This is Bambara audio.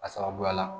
A sababuya la